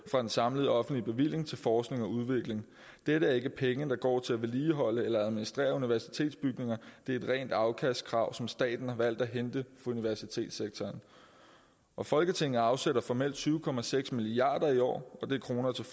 fra den samlede offentlige bevilling til forskning og udvikling dette er ikke penge der går til at vedligeholde eller administrere universitetsbygninger det er et rent afkastkrav som staten har valgt at hente på universitetssektoren folketinget afsætter formelt tyve milliard kroner til